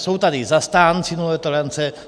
Jsou tady zastánci nulové tolerance.